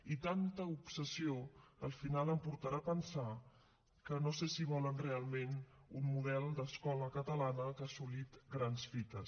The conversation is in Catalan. i tanta obsessió al final em portarà a pensar que no sé si volen realment un model d’escola catalana que ha assolit grans fites